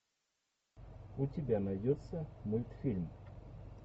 у тебя найдется мультфильм